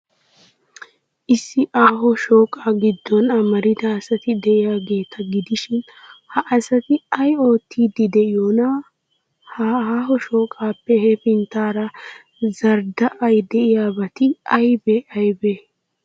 Issi aaho shooqaa giddon amarida asati de'iyaageeta gidishin, ha asati ay oottiiddi de'iyoonaa? Ha aaho shooqaappe hefinttaara zardda'idi de'yaabati aybee aybee?